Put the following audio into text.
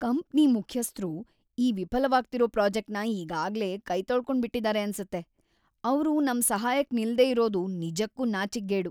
Company ಮುಖ್ಯಸ್ಥ್ರು ಈ ವಿಫಲವಾಗ್ತಿರೋ ಪ್ರಾಜೆಕ್ಟ್‌ನ ಈಗಾಗ್ಲೇ ಕೈತೊಳ್ಕೊಂಡ್ಬಿಟಿದಾರೆ‌ ಅನ್ಸತ್ತೆ, ಅವ್ರು ನಮ್‌ ಸಹಾಯಕ್‌ ನಿಲ್ದೇ ಇರೋದು ನಿಜಕ್ಕೂ ನಾಚಿಕ್ಗೇಡು.